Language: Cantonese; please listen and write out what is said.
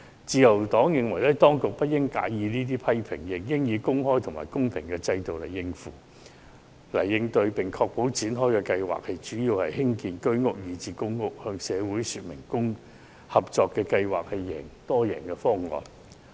自由黨認為，當局不應介意這些批評，而應以公開和公平的制度加以應對，並確保相關發展項目主要以興建居屋以至公屋為目的，向社會證明合作計劃是多贏方案。